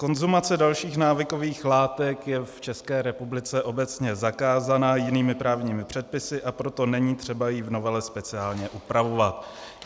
Konzumace dalších návykových látek je v České republice obecně zakázaná jinými právními předpisy, a proto není třeba ji v novele speciálně upravovat.